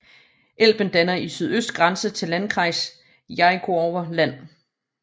Elben danner i sydøst grænse til Landkreis Jerichower Land